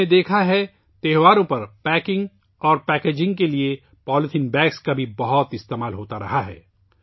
ہم نے دیکھا ہے کہ تہواروں کے دوران پولی تھین بیگز کو پیکنگ کے لئے بھی بہت زیادہ استعمال کیا جاتا ہے